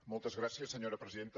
moltes gràcies senyora presidenta